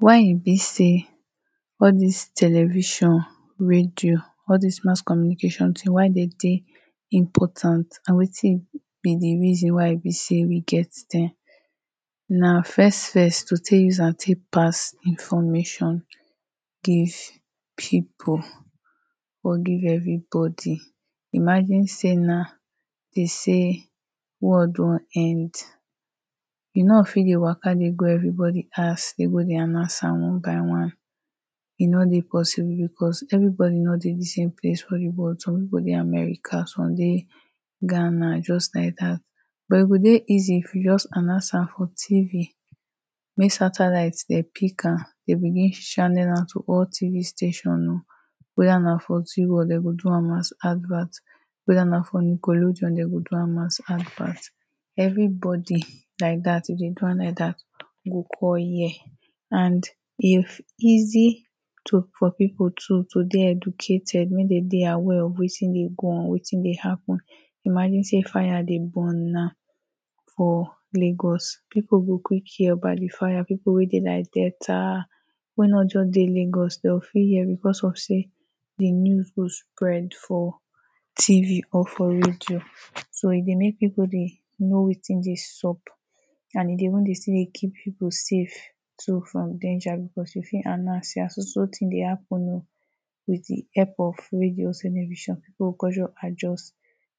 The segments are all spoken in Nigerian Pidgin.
why e be sey all dis television radio all dis mass communication ting why dem dey important na wetin be the reason why e be say we get dem na first first to take use am take pass information give people or give everybody, imagine say now dem say world don end you no fit dey Waka dey go everybody house dey go dey announce am one by one e no dey possible because everybody no dey the same place for the world some people dey America some people dey ghana just like that but e go dey easy if you just announce am for tv mek satellite dem pick am dem begin channel am to all tv station o weda na for zee world dem go do am as advert weda na for nickelodeon dem go do am as advert everybody like that if dem do am like that go come hear and if easy for to ,to dey educated wey dem dey aware of wetin dey go on wetin dey happen .imagine say burn now for Lagos people go quick hear about the fire people wey dey like Delta wey no just dey Lagos dem go fit hear because of say the news go spread for tv or for radio so e dey make people dey know wetin dey sup and e dey even still dey keep people safe too from danger because we fit announce say so so thing dey happen ooo with the help of radio television pipu go con just adjust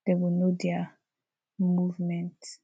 dem go know their movement